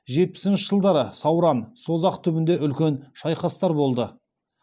жетпісінші жылдары сауран созақ түбінде үлкен шайқастар болды